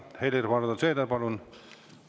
Helir‑Valdor Seeder, palun!